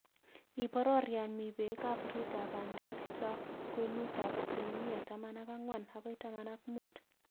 Iboror yon mi peek ap oritap bandek cho kwenutap asilimia taman ak ang'wan agoi taman ak muut